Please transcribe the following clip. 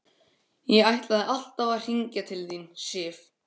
Ég ætlaði alltaf að hringja til þín, Sif.